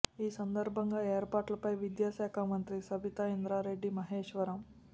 ఈ సందర్భంగా ఏర్పాట్ల పై విద్యా శాఖ మంత్రి సబితా ఇంద్రారెడ్డి మహేశ్వరం